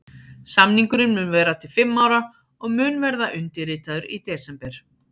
Samningurinn mun vera til fimm ára og mun verða undirritaður í desember.